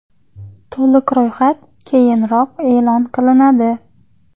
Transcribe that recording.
To‘liq ro‘yxat keyinroq e’lon qilinadi.